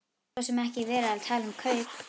Það var svo sem ekki verið að tala um kaup.